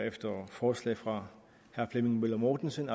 forslag fra herre flemming møller mortensen